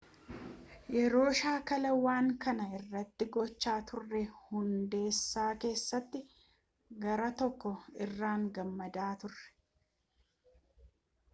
yeroo shaakala waan kana irratti gochaa turre hundaasa keessatti garaa koo irraan gammadaa ture